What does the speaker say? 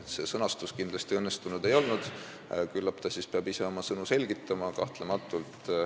See sõnastus kindlasti õnnestunud ei olnud, küllap ta peab ise oma sõnu selgitama.